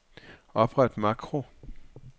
Opret makro.